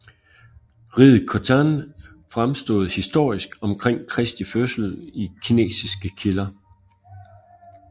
Riget Khotan fremstod historisk omkring Kristi fødsel i kinesiske kilder